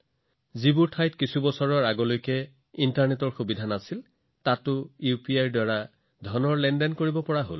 যিবোৰ ঠাইত কেইবছৰমান আগলৈকে ভাল ইণ্টাৰনেট সুবিধাও নাছিল এতিয়া তাত ইউপিআইৰ দ্বাৰা পৰিশোধৰ সুবিধা আছে